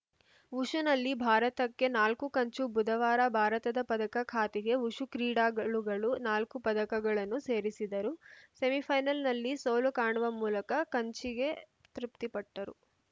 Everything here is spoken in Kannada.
ವುಶುನಲ್ಲಿ ಭಾರತಕ್ಕೆ ನಾಲ್ಕು ಕಂಚು ಬುಧವಾರ ಭಾರತದ ಪದಕ ಖಾತೆಗೆ ವುಶು ಕ್ರೀಡಾಗಳುಗಳು ನಾಲ್ಕು ಪದಕಗಳನ್ನು ಸೇರಿಸಿದರು ಸೆಮಿಫೈನಲ್‌ನಲ್ಲಿ ಸೋಲು ಕಾಣುವ ಮೂಲಕ ಕಂಚಿಗೆ ತೃಪ್ತಿಪಟ್ಟರು